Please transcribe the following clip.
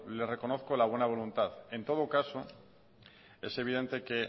le reconozco la buena voluntad en todo caso es evidente que